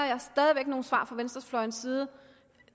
nogle svar fra venstrefløjens side